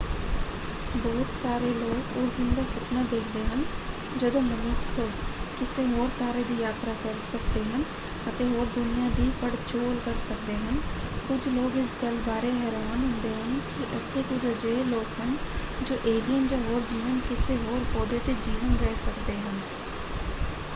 ਬਹੁਤ ਸਾਰੇ ਲੋਕ ਉਸ ਦਿਨ ਦਾ ਸੁਪਨਾ ਦੇਖਦੇ ਹਨ ਜਦੋਂ ਮਨੁੱਖ ਕਿਸੇ ਹੋਰ ਤਾਰੇ ਦੀ ਯਾਤਰਾ ਕਰ ਸਕਦੇ ਹਨ ਅਤੇ ਹੋਰ ਦੁਨੀਆਂ ਦੀ ਪੜਚੋਲ ਕਰ ਸਕਦੇ ਹਨ ਕੁਝ ਲੋਕ ਇਸ ਗੱਲ ਬਾਰੇ ਹੈਰਾਨ ਹੁੰਦੇ ਹਨ ਕਿ ਇੱਥੇ ਕੁਝ ਅਜਿਹੇ ਲੋਕ ਹਨ ਜੋ ਏਲੀਅਨ ਜਾਂ ਹੋਰ ਜੀਵਨ ਕਿਸੇ ਹੋਰ ਪੌਦੇ 'ਤੇ ਜੀਵਨ ਰਹਿ ਸਕਦੇ ਹਨ।